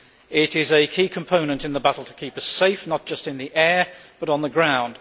It is a key component in the battle to keep us safe, not just in the air, but on the ground.